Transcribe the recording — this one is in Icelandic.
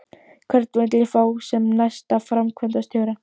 Hvern vil ég fá sem næsta framkvæmdastjóra?